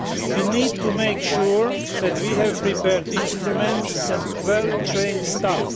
We need to make sure that we have prepared instruments and well trained staff.